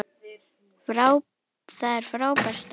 Það er frábær staður.